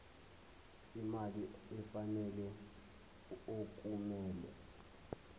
imali efanele okumele